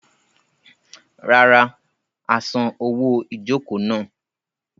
Rárá, a san owó ìjokòó náà.